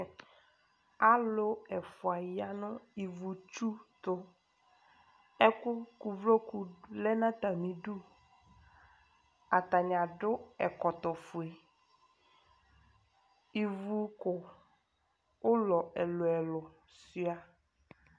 Alʋ ɛfʋa ya nʋ ivutsu tʋ Ɛkʋ kʋ uvloku lɛ nʋ atamɩdu Atanɩ adʋ ɛkɔtɔfue Ivuko ʋlɔ ɛlʋ-ɛlʋ sʋɩa